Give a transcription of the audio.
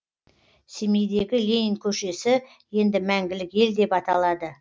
семейдегі ленин көшесі енді мәңгілік ел деп аталады